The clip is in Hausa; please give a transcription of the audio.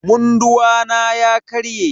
Munduwa na ya karye.